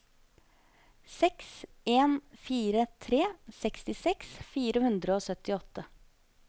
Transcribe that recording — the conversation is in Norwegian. seks en fire tre sekstiseks fire hundre og syttiåtte